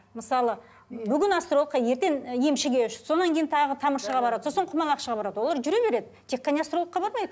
мысалы бүгін астрологқа ертең і емшіге сонан кейін тағы тамыршыға барады сосын құмалақшыға барады олар жүре береді тек қана астрологқа ғана бармайды